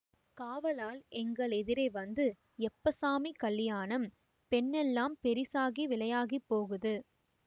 காவலாள் எங்கள் எதிரே வந்து எப்போ சாமி கலியாணம் பெண்ணெல்லாம் பெரிசாகி விலையாகிப் போகுது